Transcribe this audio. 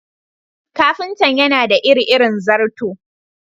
Ƙafintan yana da iri-irin zarto.